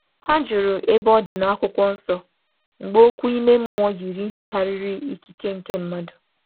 Hà jụrụ ka e nye ha nkwado si n’Akwụkwọ Nsọ mgbe okwu ime mmụọ dị ka ike nke ukwuu.